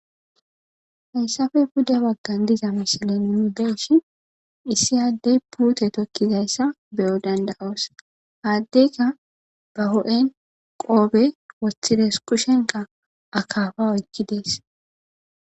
hayssafe bude waggan diza mishilen mu deshi issi addey puute tokkizayssa beyo danda7oos haaddeyka ba ho7en qoobe woththides kushenka akaafa oykki dees